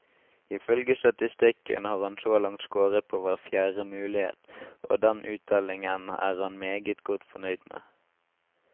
I følge statistikken har han så langt scoret på hver fjerde mulighet, og den uttellingen er han meget godt fornøyd med.